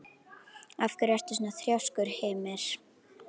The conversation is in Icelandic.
Af hverju ertu svona þrjóskur, Hymir?